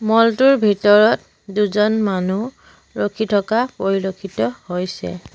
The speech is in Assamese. মল টোৰ ভিতৰত দুজন মানুহ ৰখি থকা পৰিলক্ষিত হৈছে।